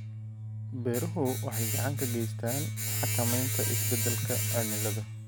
Beeruhu waxay gacan ka geystaan ??xakamaynta isbeddelka cimilada.